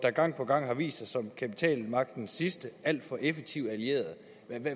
gang på gang har vist sig som kapitalmagtens sidste alt for effektive allierede